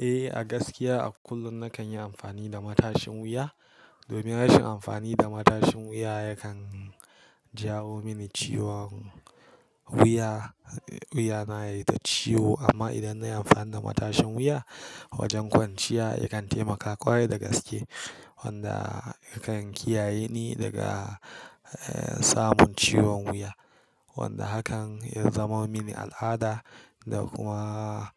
Eh, a gaskiya a kullum nakan yi amfani da matashin wuya. Domin rashin amfani da matashin wuya yakan jawo mini ciwon wuya. Wuya na yayi ta ciwo, amma idan na yi amfani da matashin wuya wajen kwanciya yakan taimaka ƙwarai da gaske wanda yakan kiyaye ni daga eh samun ciwon wuya. Wanda hakan ya zama mini al'ada da kuma